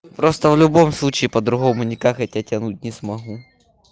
просто в любом случае по-другому никак я тебя тянуть не смогу